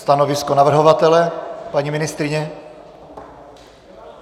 Stanovisko navrhovatele, paní ministryně?